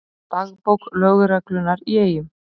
Dagbók lögreglunnar í Eyjum